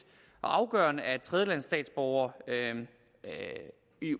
og afgørende at tredjelandsstatsborgere